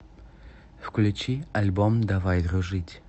включи альбом давай дружить